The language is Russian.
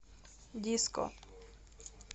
диско